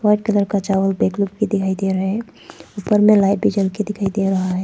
White colour का चावल bag लोग भी दिखाई दे रहा है ऊपर में लाइट भी जल के दिखाई दे रहा है।